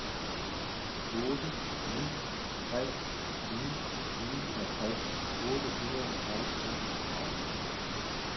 otte ni tre ni niogtres otte hundrede og enogtredive